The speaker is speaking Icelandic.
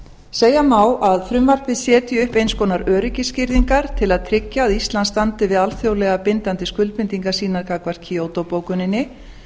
segja má að frumvarpið setji upp eins konar öryggisgirðingar til að tryggja að ísland standi við alþjóðlega bindandi skuldbindingar sínar gagnvart kyoto bókuninni